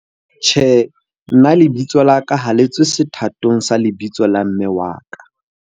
Tjhe, nna lebitso la ka ha le tswe sethatong sa lebitso la mme wa ka.